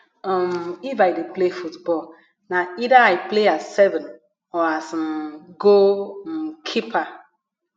um if i dey play football na either i play as seven or as um goal um keeper